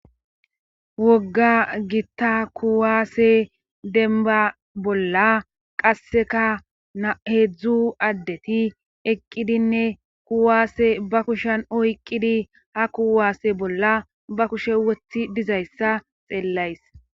wogga gitta kuwaase denba bolla qasseka na heedzdzu addeti eqqidinne kuwaasse ba kushan oyqqidi ha kuwaase bolla ba kushe wothi dizayssa xeellays